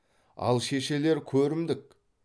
ал шешелер көрімдік